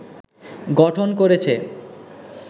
গঠন করেছে